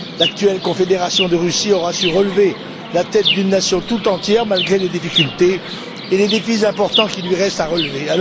L'actuelle Confédération de Russie aura su relever la tête d'une nation tout entière malgré les difficultés et les défis importants qu'il lui reste à relever.